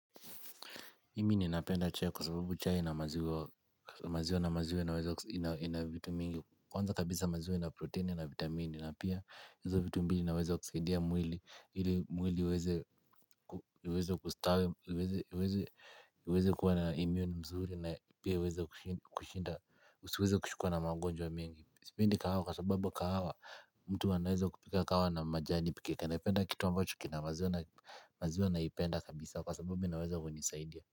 Mimi ninapenda chai kwa sababu chai na maziwa na maziwa inaweza ina vitu mingi. Kwanza kabisa maziwa ina protini na vitamini na pia hizo vitu mbili inawezakusaidia mwili. Ili mwili uweze kustawi, uweze kuwa na immune mzuri na pia uweze kushinda, usiweze kushikwa na magonjwa mengi. Sipendi kahawa kwa sababu kahawa mtu anaweza kupika kahawa na majani pekee naipenda kitu ambacho kina maziwa na maziwa naipenda kabisa kwa sababu inaweza kunisaidia.